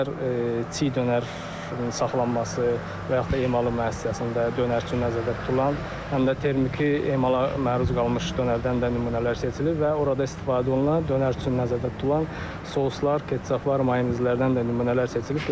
İstər çiğ dönər saxlanması və yaxud da emalı müəssisəsində dönər üçün nəzərdə tutulan, həm də termiki emala məruz qalmış dönərdən də nümunələr seçilir və orada istifadə olunan dönər üçün nəzərdə tutulan soslar, ketçaplar, mayonezlərdən də nümunələr seçilib.